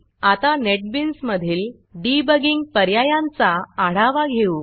आता netbeansनेटबिन्स मधील debuggingडिबगिंग पर्यायांचा आढावा घेऊ